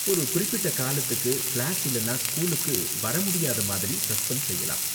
ஒரு குறிப்பிட்ட காலத்துக்கு கிளாஸ் இல்லனா ஸ்கூல்க்கு வர முடியாத மாதிரி சஸ்பெண்ட் செய்யலாம்.